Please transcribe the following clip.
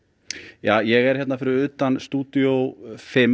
ja ég er fyrir utan stúdíó fimm